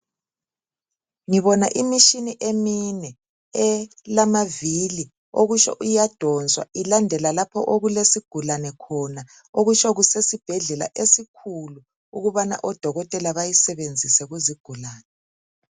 Ngibona imishini emine elamavili okusho iyadonswa ilandela lapho okulesigulane khona. Okusho kusesibhedlela esikhulu ukubana odokotela bayisebenzise kuzigulane.